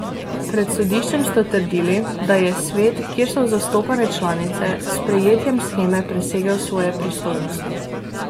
Pred sodiščem sta trdili, da je Svet, kjer so zastopane članice, s sprejetjem sheme presegel svoje pristojnosti.